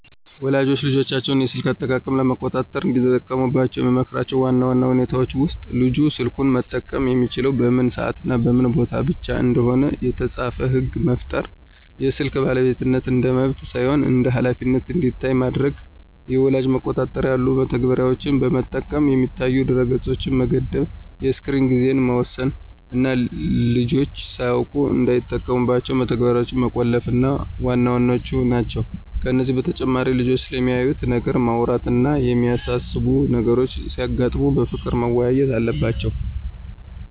ወላጆች የልጆቻቸውን የስልክ አጠቃቀም ለመቆጣጠር እንዲጠቀሙባቸው የምመክራቸው ዋና ዋና ሁኔታዎች ውስጥ፦ ልጁ ስልኩን መጠቀም የሚችለው በምን ሰዓትና በምን ቦታ ብቻ እንደሆነ የተጻፈ ሕግ መፍጠር፣ የስልክ ባለቤትነት እንደ መብት ሳይሆን እንደ ኃላፊነት እንዲታይ ማድረግ፣ የወላጅ መቆጣጠሪያ ያሉ መተግበሪያዎችን በመጠቀም የሚታዩ ድረ-ገጾችን መገደብ፣ የስክሪን ጊዜን መወሰን እና ልጆች ሳያውቁት እንዳይጠቀሙባቸው መተግበሪያዎችን መቆለፍ ዋና ዋናዎቹ ናቸው። ከዚህ በተጨማሪ ልጆቹ ስለሚያዩት ነገር ማውራት እና የሚያሳስቡ ነገሮች ሲያጋጥሙ በፍቅር መወያየት አለባቸው።